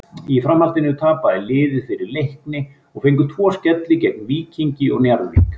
Í framhaldinu tapaði liðið fyrir Leikni og fengu tvo skelli gegn Víkingi og Njarðvík.